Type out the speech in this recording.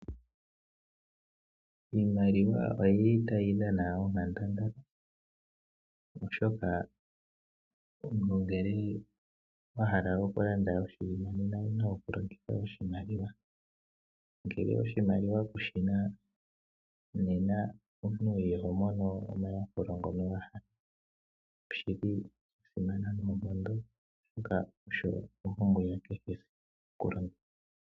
Iimaliwa oyi li tayi dhana onkandangala, oshoka omuntu ngele wa hala okulanda oshinima nena owu na okulongitha oshimaliwa. Ngele oshimaliwa kushi na nena omuntu iho mono omayakulo ngoka wa hala. Osha simana noonkondo, oshoka osho ompumbwe ya kehesiku okulongithwa.